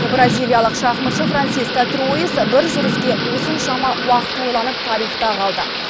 бразиялық шахматшы франциск альтруис бір жүріске осыншама уақыт ойланып тарихта қалды